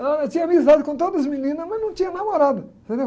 Eu era, tinha amizade com todas as meninas, mas não tinha namorada, entendeu?